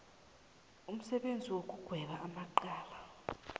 umsebenzi wokugweba amacala